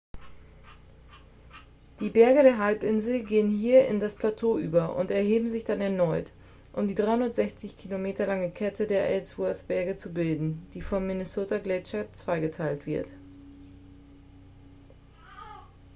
die berge der halbinsel gehen hier in das plateau über und erheben sich dann erneut um die 360 km lange kette der ellsworth-berge zu bilden die vom minnesota-gletscher zweigeteilt wird